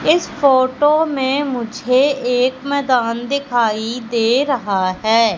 इस फोटो में मुझे एक मैदान दिखाई दे रहा है।